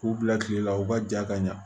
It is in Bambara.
K'u bila kile la u ka ja ka ɲa